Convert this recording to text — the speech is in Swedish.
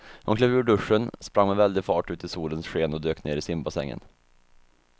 Hon klev ur duschen, sprang med väldig fart ut i solens sken och dök ner i simbassängen.